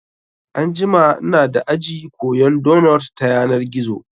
Anjima inada aji koyan donot ta yanar gizo